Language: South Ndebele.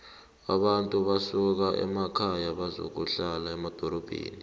abantu basuka emakhaya bazokuhlala emadorobheni